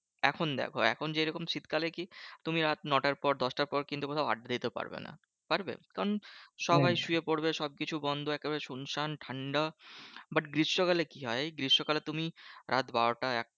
এখন দেখো এখন যেরকম শীতকালে কি? তুমি রাত নটার পর দশটার পর কিন্তু কোথাও আড্ডা দিতে পারবে না। পারবে? কারণ সবাই শুয়ে পড়বে। সবকিছু বন্ধ একেবারে শুনশান ঠান্ডা। but গ্রীষ্মকালে কি হয়? গ্রীষ্মকালে তুমি রাত বারোটা এক